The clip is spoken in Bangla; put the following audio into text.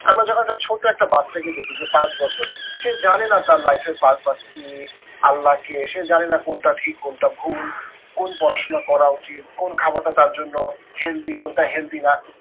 আমরা যখন একটা ছোট্ট একটা বাচ্চা কে দেখি যে পাঁচ বছর, সে জানে না তার life এর purpose কি আল্লা কে সে জানে না কোনটা ঠিক কোনটা ভুল। কোন পড়াশোনা করা উচিত, কোন খাবারটা তার জন্য healthy কোনটা healthy না